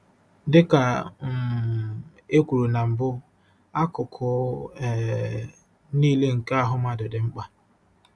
Dị ka um e kwuru na mbụ, akụkụ um nile nke ahụ mmadụ dị mkpa.